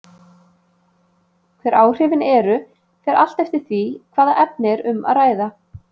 Hver áhrifin eru fer allt eftir því hvaða efni er um að ræða.